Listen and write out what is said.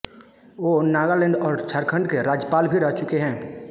वो नागालैण्ड और झारखण्ड के राज्यपाल भी रह चुके हैं